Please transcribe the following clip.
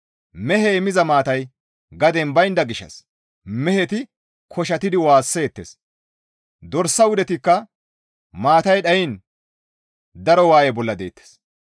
Mehey miza maatay gaden baynda gishshas meheti koshattidi waasseettes; dorsa wudetikka maatay dhayiin daro waaye bolla deettes.